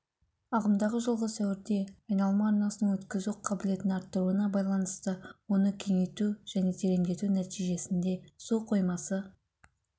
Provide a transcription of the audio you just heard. ағымдағы жылғы сәуірде айналма арнасының өткізу қабілетін арттыруына байланысты оны кеңейту және тереңдету нәтижесінде су қоймасы